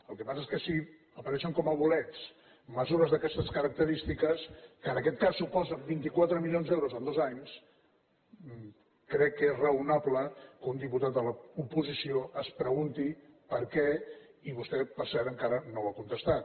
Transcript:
el que passa és que si apareixen com a bolets mesures d’aquestes característiques que en aquest cas suposen vint quatre milions d’euros en dos anys crec que és raonable que un diputat de l’oposició es pregunti per què i vostè per cert encara no ho ha contestat